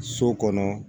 So kɔnɔ